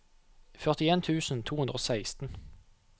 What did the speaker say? førtien tusen to hundre og seksten